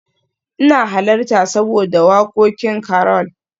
ina halarta saboda wakokin Carol